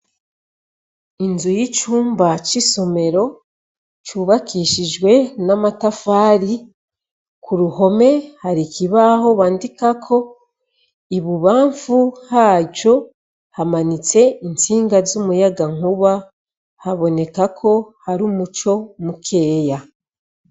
Inzu y'icumba c'isomero cubakishijwe n'amatafari ku ruhome hari ikibaho bandikako, ibubanfu haco hamamitse intsinga z'umuyagankuba haboneka ko hari umuco mukeya.